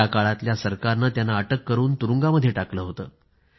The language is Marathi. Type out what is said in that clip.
त्याकाळातल्या सरकारने त्यांना अटक करून तुरुंगामध्ये टाकलं होतं